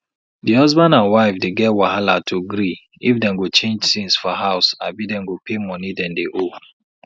di husband and wife dey get wahala to gree if dem go change tins for house abi dem go pay money dem dey owe